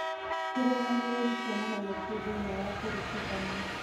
kĩrũgamĩrĩri kĩonanagia kĩĩ thĩinĩ wa kũringithania